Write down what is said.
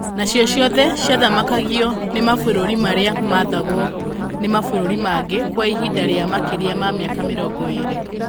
Nacio ciothe ciathamakagio nĩ mabũrũri marĩa maathagwo nĩ mabũrũri mangĩ kwa ihinda rĩa makĩria ma mĩaka mĩrongo ĩĩrĩ.